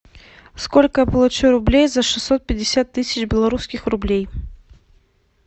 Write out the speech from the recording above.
сколько я получу рублей за шестьсот пятьдесят тысяч белорусских рублей